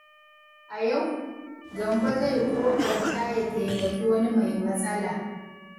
A yau, Gambo zai ƙoƙarta ya taimaki wani mai matsala.